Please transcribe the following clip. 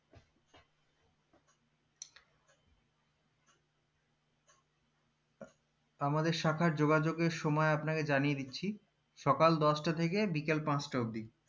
আমাদের শাখার যোগাযোগের সময় আপনাকে জানিয়ে দিচ্ছি সকাল দশটা থেকে বিকেল পাঁচটা অবদি